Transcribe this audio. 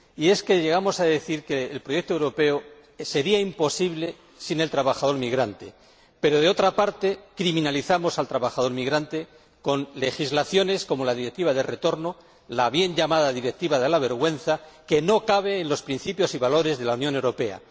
Y es que llegamos a decir que el proyecto europeo sería imposible sin el trabajador migrante, pero, por otra parte, criminalizamos al trabajador migrante, con legislaciones como la Directiva del retorno, la bien llamada Directiva de la vergüenza, que no cabe en los principios y valores de la Unión Europea.